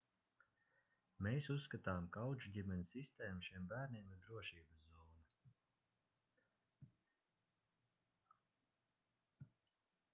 mēs uzskatām ka audžuģimeņu sistēma šiem bērniem ir drošības zona